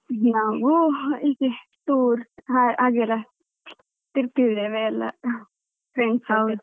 ನಾವು ಇದೆ tour ಹಾಗೆ ಎಲ್ಲ ತಿರ್ಗತಿದ್ದೇವೆ ಎಲ್ಲಾ friends ಜೊತೆ.